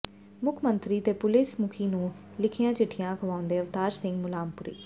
ਮੁੱਖ ਮੰਤਰੀ ਤੇ ਪੁਲੀਸ ਮੁਖੀ ਨੂੰ ਲਿਖੀਆਂ ਚਿੱਠੀਆਂ ਦਿਖਾਉਂਦੇ ਅਵਤਾਰ ਸਿੰਘ ਮੁੱਲਾਂਪੁਰੀ